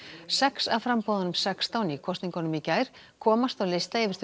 sex af framboðunum sextán í kosningunum í gær komast á lista yfir þau